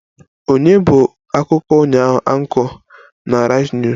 Ònye bụ akụkọ ụnyaahụ Anchor on Arise news?